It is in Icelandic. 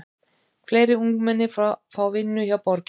Fleiri ungmenni fá vinnu hjá borginni